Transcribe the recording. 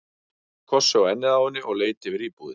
Hann smellti kossi á ennið á henni og leit yfir íbúðina.